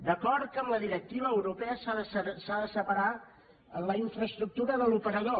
d’acord que amb la directiva europea s’ha de separar la infraestructura de l’operador